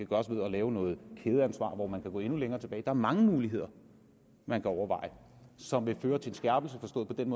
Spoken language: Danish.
gøres ved at lave noget kædeansvar hvor man kan gå endnu længere tilbage der er mange muligheder man kan overveje som vil føre til en skærpelse forstået på den